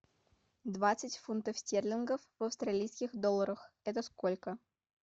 двадцать фунтов стерлингов в австралийских долларах это сколько